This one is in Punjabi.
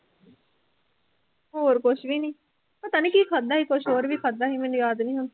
ਹੋਰ ਕੁਛ ਵੀ ਨੀ, ਪਤਾ ਨੀ ਕੀ ਖਾਧਾ ਸੀ ਕੁਛ ਹੋਰ ਵੀ ਖਾਧਾ ਸੀ ਮੈਨੂੰ ਯਾਦ ਨੀ ਹੁਣ